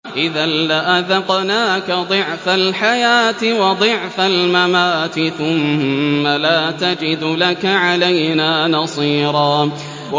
إِذًا لَّأَذَقْنَاكَ ضِعْفَ الْحَيَاةِ وَضِعْفَ الْمَمَاتِ ثُمَّ لَا تَجِدُ لَكَ عَلَيْنَا نَصِيرًا